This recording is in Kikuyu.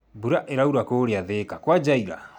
Mbura ĩraura kũrĩa Thĩka kwanjia ira